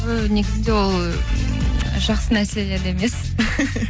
і негізінде ол жақсы нәрселер емес